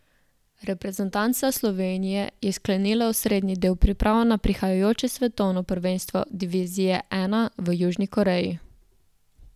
Reprezentanca Slovenije je sklenila osrednji del priprav na prihajajoče svetovno prvenstvo divizije I v Južni Koreji.